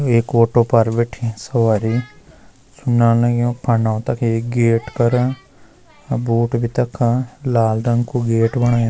एक ऑटो पर बैठीं सवरी सुना लग्युं पंडो तखी गेट कर अर बोट भी तख लाल रंग कु गेट बणायु।